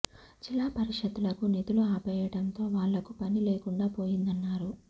జిల్లా పరిషత్ లకు నిధులు ఆపేయడంతో వాళ్లకు పని లేకుండా పోయిందన్నారు